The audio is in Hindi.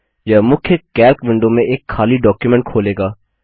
यह मुख्य कैल्क विंडो में एक खाली डॉक्युमेंट खोलेगा